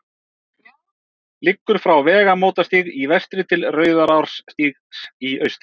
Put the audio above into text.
liggur frá vegamótastíg í vestri til rauðarárstígs í austri